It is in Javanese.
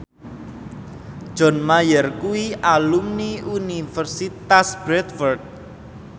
John Mayer kuwi alumni Universitas Bradford